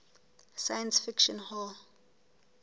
science fiction hall